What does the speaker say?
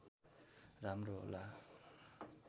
राम्रो होला